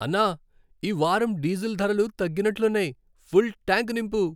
అన్నా, ఈ వారం డీజిల్ ధరలు తగ్గినట్లున్నాయి. ఫుల్ ట్యాంక్ నింపు.